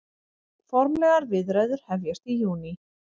Formlegar viðræður hefjast í júní